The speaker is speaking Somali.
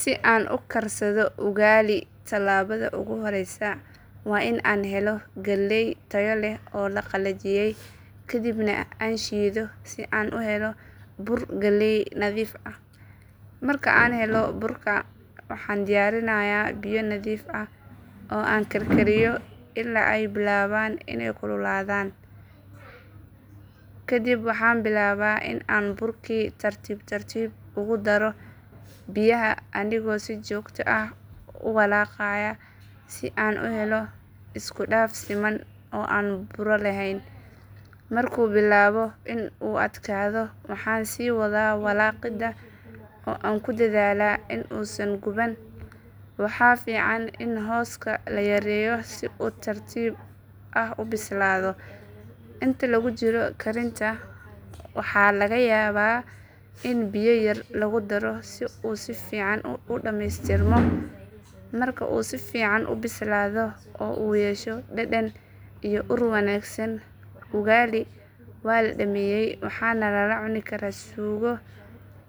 Si aan u karsado ugali tallaabada ugu horreysa waa in aan helo galley tayo leh oo la qalajiyay kadibna aan shiido si aan u helo bur galley nadiif ah. Marka aan helo burka waxaan diyaarinayaa biyo nadiif ah oo aan karkariyo ilaa ay bilaabaan inay kululaadaan. Kadib waxaan bilaabaa in aan burkii tartiib tartiib ugu daro biyaha anigoo si joogto ah u walaaqaya si aan u helo isku dhaf siman oo aan buuro lahayn. Markuu bilaabo in uu adkaado waxaan sii wadaa walaaqidda oo aan ku dadaalaa in uusan guban. Waxaa fiican in hooska la yareeyo si uu si tartiib ah u bislaado. Inta lagu jiro karinta waxaa laga yaabaa in biyo yar lagu daro si uu si fiican u dhameystirmo. Marka uu si fiican u bislaado oo uu yeesho dhadhan iyo ur wanaagsan, ugali waa la dhameeyay waxaana lala cuni karaa suugo,